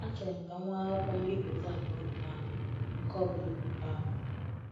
Achọrọ m ka m nwee akwụkwọ mbipụta abụọ um nke ọ bụla. um